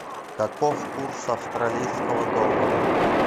каков курс австралийского доллара